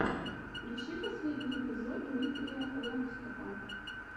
включи последний эпизод дмитрия лэндстопа